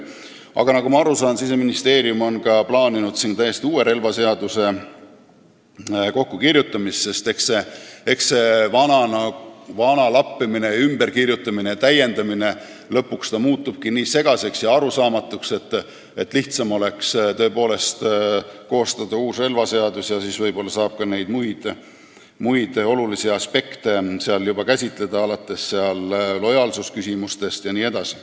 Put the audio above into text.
Aga nagu ma aru sain, Siseministeerium on plaaninud täiesti uue relvaseaduse kirjutamist, sest eks see vana lappimine, ümberkirjutamine ja täiendamine lõpuks muudabki seaduse nii segaseks ja arusaamatuks, et lihtsam oleks tõepoolest koostada uus relvaseadus, kus võib-olla saab ka neid muid olulisi aspekte juba käsitleda, alates lojaalsusküsimustest jne.